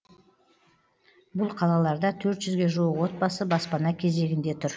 бұл қалаларда төрт жүзге жуық отбасы баспана кезегінде тұр